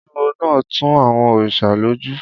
Olúwo náà tu àwọn òrìṣà lójú